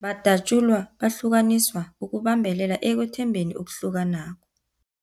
Badatjulwa, bahlukaniswa ukubambelela ekwethembekeni okuhlukanako.